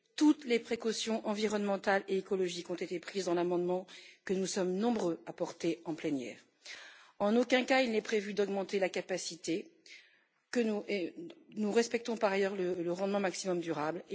Toutes les précautions environnementales et écologiques ont été prises dans l'amendement que nous sommes nombreux à porter en plénière. En aucun cas il n'est prévu d'augmenter la capacité nous respectons, par ailleurs, le rendement maximum durable.